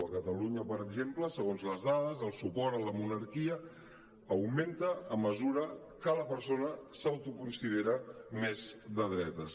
a catalunya per exemple segons les dades el suport a la monarquia augmenta a mesura que la persona s’autoconsidera més de dretes